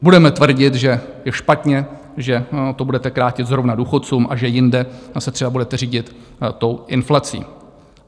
Budeme tvrdit, že je špatně, že to budete krátit zrovna důchodcům a že jinde se třeba budete řídit tou inflací.